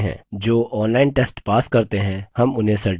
जो online test pass करते हैं हम उन्हें certificates भी देते हैं